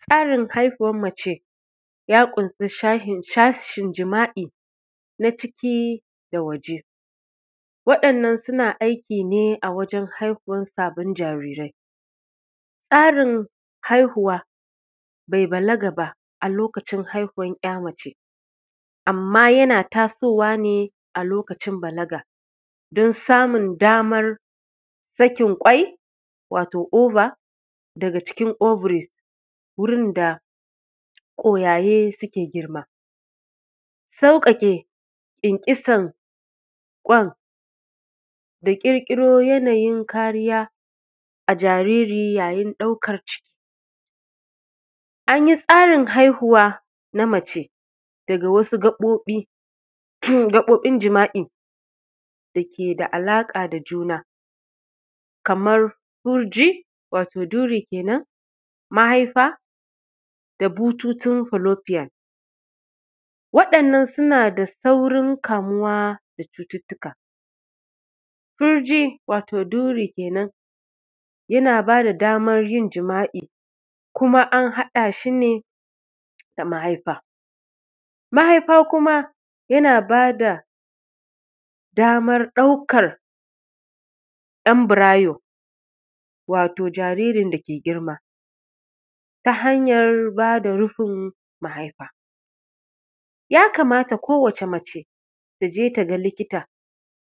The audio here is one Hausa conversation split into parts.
Tsarin haihuwan mace ya ƙunsa sashin jima’i na ciki da waje waɗannan suna aiki ne a wajen haihuwan sabbin jarirai, tsarin haihuwa bai balaga ba a lokacin haihuwan ‘ya mace amma yana taso wa ne a lokacin balaga dan samun damar sakin kwai, wato ova daga cikin ovary wurin da kwayaye suke girma, sauƙaƙe kyankyasan kwan da ƙirƙiro yana yin kariya a jariri yayin ɗaukar ciki. An yi tsarin haihuwa na mace daga wasu gabobin jima’i dake da alaƙa da juna kamar farji, wato duri kenan, mahaifa da bututun philopian waɗannan suna saurin kamuwa da cututka. Farji wato duri kenan yana ba da damar yin jima’i kuma an haɗa shi ne da mahaifa, mahaifa kuma yana ba da damar ɗaukar embryo wato jaririn dake girma ta hanyar ba da rufin mahaifa, ya kamata ko wace mace ta je ta ga likita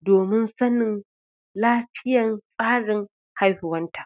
domin sanin lafiyan tsarin haihuwanta.